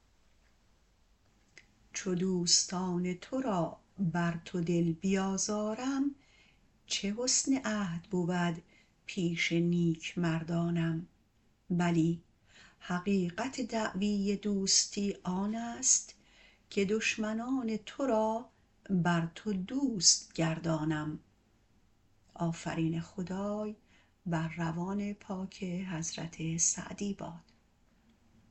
چو دوستان تو را بر تو دل بیازارم چه حسن عهد بود پیش نیکمردانم بلی حقیقت دعوی دوستی آنست که دشمنان تو را بر تو دوست گردانم